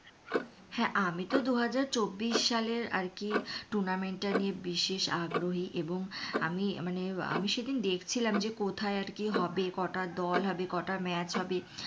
হ্যাঁ আমি তো দুহাজার চব্বিশ সালের আর কি tournament টা নিয়ে বিশেষ আগ্রহী এবং আমি মানে আমি সেদিন দেখছিলাম যে কোথায় আরকি হবে কটা দল হবে কটা match হবে,